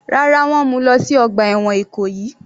Rárá, wọ́n mú u lọ sí ọgbà ẹ̀wọ̀n Ìkòyí.